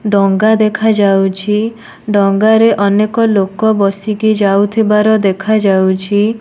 ଡଙ୍ଗା ଦେଖାଯାଉଛି ଡଙ୍ଗାରେ ଅନେକ ଲୋକ ବସିକି ଯାଉଥିବାର ଦେଖାଯାଉଛି।